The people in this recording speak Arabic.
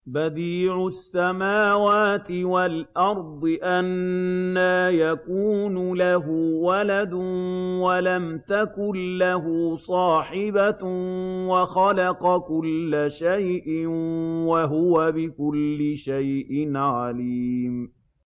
بَدِيعُ السَّمَاوَاتِ وَالْأَرْضِ ۖ أَنَّىٰ يَكُونُ لَهُ وَلَدٌ وَلَمْ تَكُن لَّهُ صَاحِبَةٌ ۖ وَخَلَقَ كُلَّ شَيْءٍ ۖ وَهُوَ بِكُلِّ شَيْءٍ عَلِيمٌ